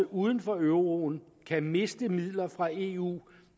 uden for euroen kan miste midler fra eu